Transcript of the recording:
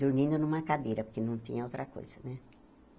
dormindo numa cadeira, porque não tinha outra coisa, né?